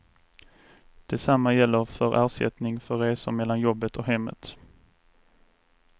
Detsamma gäller för ersättning för resor mellan jobbet och hemmet.